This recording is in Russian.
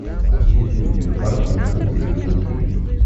есть ли у тебя парк юрского периода три